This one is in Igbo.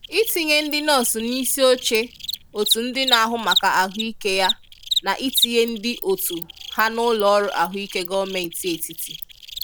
Itinye ndị nọọsụ n'isioche otu ndị na-ahụ maka ahụike ya na itinye ndị otu ha n'ụlọọrụ ahụike gọọmenti etiti.